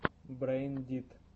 брэйн дит